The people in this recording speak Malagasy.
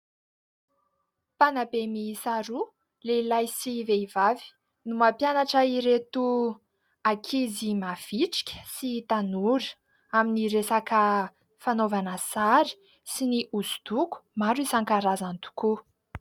Mpanabe miisa roa lehilahy sy vehivavy no mampianatra ireto ankizy mavitrika sy tanora amin'ny resaka fanaovana sary sy ny hoso-doko maro isan-karazany tokoa.